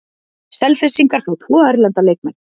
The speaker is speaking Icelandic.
Selfyssingar fá tvo erlenda leikmenn